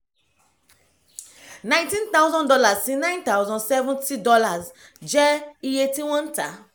nineteen thousand dollars sí nine thousand seventy dollars jẹ́ iye tí wọ́n ń tà á